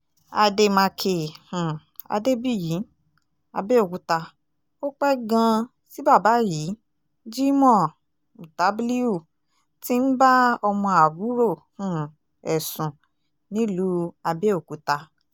àdèmàkè um adébíyì abẹ́òkúta ó pẹ́ gan-an tí bàbá yìí jimoh mutabliu ti ń bá ọmọ àbúrò um ẹ̀ sùn nílùú abẹ́ọ̀kúta